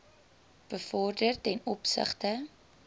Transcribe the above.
bevorder ten opsigte